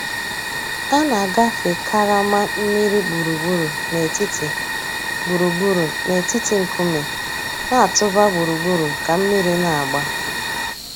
A nà-àgàfé karama mmìrì gbùrùgbùrù nètìtì gbùrùgbùrù nètìtì ńkùmé̀ nà-̀tụ̀bà gbùrùgbùrù kà mmìrì nà-àgbà.